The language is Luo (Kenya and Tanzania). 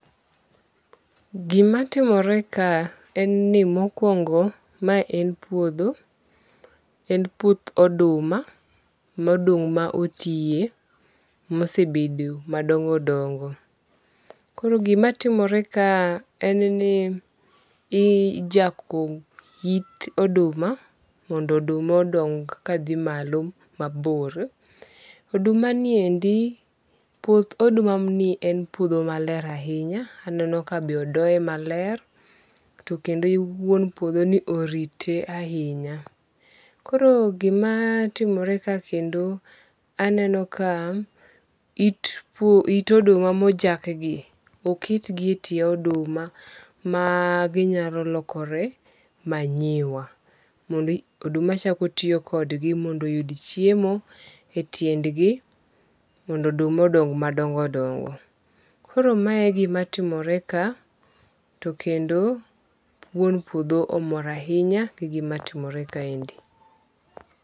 Gima timore ka en ni mokwongo ma en puodho. En puoth oduma ma oduma otiye ma osebedo madongo dongo. Koro gima timore ka en ni ijako it oduma mondo oduma odong ka dhi malo mabor. Oduma ni endi puoth oduma ni en puodho maler ahinya. Aneno ka be odoye maler kendo wuon puodho ni orite ahinya. Koro gima timore ka kendo aneno ka it oduma mojaki gi oket gi e tie oduma ma ginyalo lokore manure mondo oduma chako tiyo kodgi mondo oyud chiemo e tiendgi mondo oduma odong madongo dongo. Koro mae gima timore ka to kendo wuon puodho omor ahinya gi gima timore kaendi.